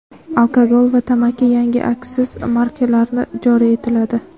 Alkogol va tamakiga yangi aksiz markalari joriy etiladi.